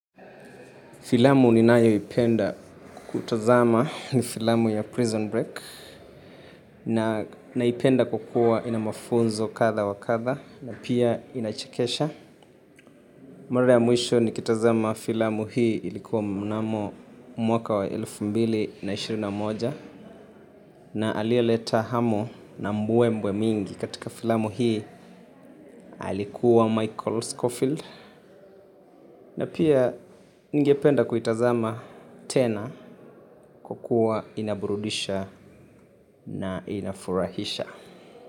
Filamu ninayoipenda. Kutazama ni filamu ya Prison Break. Naipenda kwakua ina mafunzo katha wa katha, na pia inachekesha. Mara ya mwisho nikitazama filamu hii ilikuwa mnamo, mwaka wa elfu mbili na ishirini na moja. Na aliyeleta hamu na mbwe mbwe mingi katika filamu hii alikuwa Michael Schofield. Na pia. Ningependa kuitazama, tena. Kwakua inaburudisha. Na inafurahisha.